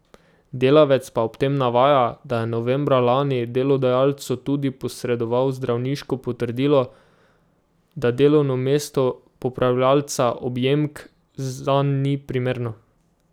Delavec pa ob tem navaja, da je novembra lani delodajalcu tudi posredoval zdravniško potrdilo, da delovno mesto popravljavca objemk zanj ni primerno.